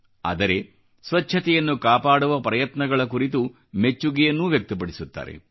ಆದರೆ ಸ್ವಚ್ಛತೆಯನ್ನು ಕಾಪಾಡುವ ಪ್ರಯತ್ನಗಳ ಕುರಿತು ಮೆಚ್ಚುಗೆಯನ್ನೂ ವ್ಯಕ್ತಪಡಿಸುತ್ತಾರೆ